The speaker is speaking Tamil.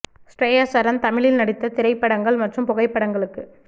ஷ்ரேயா சரன் தமிழில் நடித்த திரைப்படங்கள் மற்றும் புகைப்படங்களுக்கு